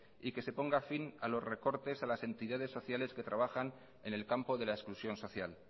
y que se ponga fin a los recortes y a las entidades sociales que trabajan en el campo de la exclusión social